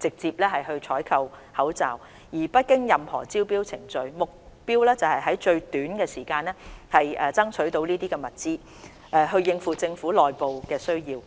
直接採購口罩，而不經任何招標程序，目標是在最短時間內爭取到這些物資，應付政府內部的需要。